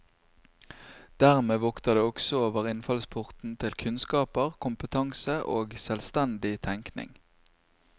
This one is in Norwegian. Dermed vokter det også over innfallsporten til kunnskaper, kompetanse og selvstendig tenking.